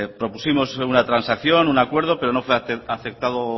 propusimos una transacción un acuerdo pero no fue aceptado